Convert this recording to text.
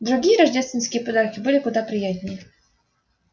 другие рождественские подарки были куда приятнее